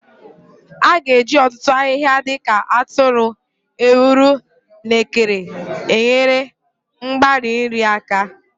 A ga-eji ọtụtụ ahịhịa dị ka atụrụ, ewuro, na ekere enyere mgbari nri aka.